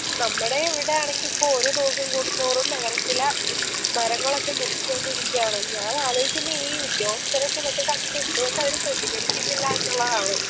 നമ്മടെ ഇവടയാണെങ്കി ഇപ്പൊ ഓരോ ദിവസം കൂടുന്തോറും നഗരത്തിലെ മരങ്ങളൊക്കെ മുറിച്ചോണ്ടിരിക്കാണ് ഞാൻ ആലോയ്ക്കുന്നെ ഈ ഉദ്യോഗസ്ഥരൊക്കെ ഇതൊക്കെ കണ്ടിട്ട് എന്ത്കൊണ്ടവര് പ്രതികരിക്കുന്നില്ല എന്നുള്ളതാണ്